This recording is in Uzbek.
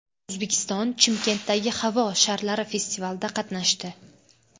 O‘zbekiston Chimkentdagi havo sharlari festivalida qatnashdi.